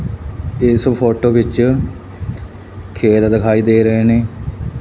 ਇਸ ਫੋਟੋ ਵਿੱਚ ਖੇਤ ਦਿਖਾਈ ਦੇ ਰਹੇ ਨੇ।